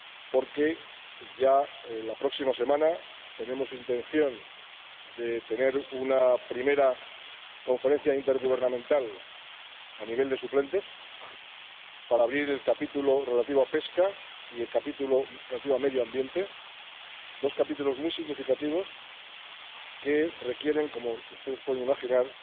porque ya la próxima semana tenemos intención de celebrar una primera conferencia intergubernamental a nivel de suplentes para abrir el capítulo relativo a la pesca y el capítulo relativo al medio ambiente, dos capítulos muy significativos que requieren, como ustedes pueden imaginar,